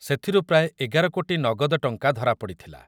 ସେଥିରୁ ପ୍ରାୟ ଏଗାର କୋଟି ନଗଦ ଟଙ୍କା ଧରାପଡ଼ିଥିଲା ।